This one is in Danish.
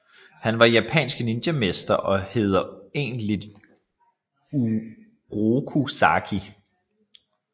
Han er japansk ninjamester og hedder egentlig Uroku Saki